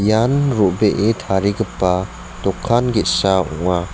ian ro·bee tarigipa dokan ge·sa ong·a.